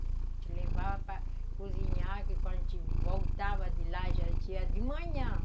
A gente levava para cozinhar, que quando a gente voltava de lá já era dia de manhã.